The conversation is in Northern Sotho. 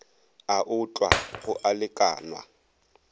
a otlwa go a lekanwa